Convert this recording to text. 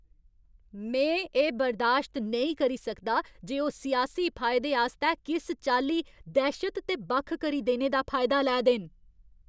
में एह् बर्दाश्त नेईं करी सकदा जे ओह् सियासी फायदे आस्तै किस चाल्ली दैह्शत ते बक्ख करी देने दा फायदा लै दे न।